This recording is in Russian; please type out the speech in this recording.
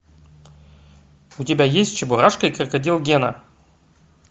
у тебя есть чебурашка и крокодил гена